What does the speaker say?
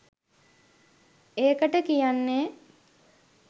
ඒකට කියන්නේ